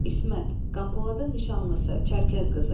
İsmət, Qampoladın nişanlısı, Çərkəz qızı.